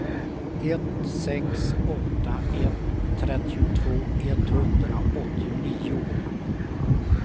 ett sex åtta ett trettiotvå etthundraåttionio